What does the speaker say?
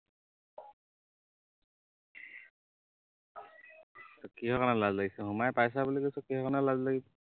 কিহৰ কাৰণে লাজ লাগিছে সোমাই পাইছা বুলি কৈছো কিহৰ কাৰণে লাজ লাগিছে